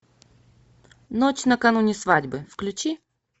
ночь накануне свадьбы включи